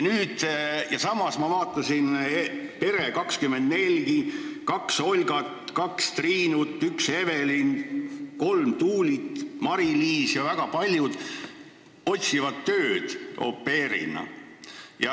Ma vaatasin ka Pere24 lehekülge: kaks Olgat, kaks Triinut, üks Evelin, kolm Tuulit, Mariliis ja väga paljud teised otsivad tööd au pair'ina.